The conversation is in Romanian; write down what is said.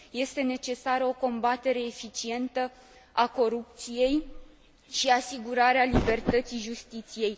Este necesară o combatere eficientă a corupției și asigurarea libertății justiției.